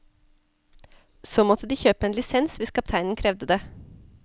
Så måtte de kjøpe en lisens, hvis kapteinen krevde det.